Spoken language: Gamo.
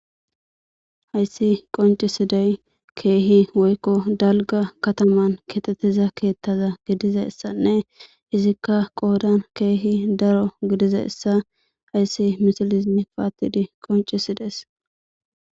Hayisani qoncishe dizayisi kehi daligga katama getetiza ketha gidizayisane izika qoddani kehi darro gidizayisa hayis misilezi pattidi qoncisidesi